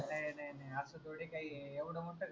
नाई नाई नाई आस थोडी काई ए एवढं मोठं घर